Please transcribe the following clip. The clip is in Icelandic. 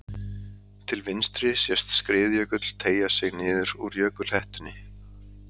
Til vinstri sést skriðjökull teygja sig niður úr jökulhettunni.